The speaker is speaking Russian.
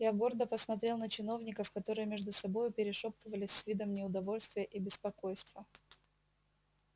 я гордо посмотрел на чиновников которые между собою перешёптывались с видом неудовольствия и беспокойства